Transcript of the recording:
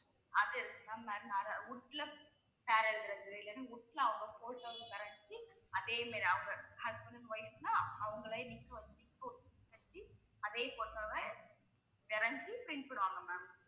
அது இருக்கு ma'am வேற wood ல பேர் எழுதுறது இல்லின்னா wood ல அவங்க photo வ வரைஞ்சி அதே மாதிரி அவங்க. husband and wife ன்னா அவங்களே அதே photo வ வரைஞ்சி print பண்ணுவாங்க ma'am